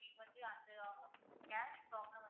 cash problem